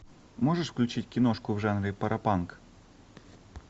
можешь включить киношку в жанре паропанк